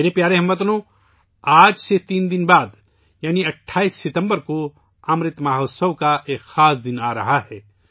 میرے پیارے ہم وطنو، آج سے تین دن بعد یعنی 28 ستمبر کو امرت مہوتسو کا ایک خاص دن آ رہا ہے